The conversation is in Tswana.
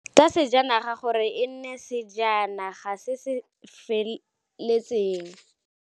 Tsa sejanaga gore e nne sejana ga se se feletseng.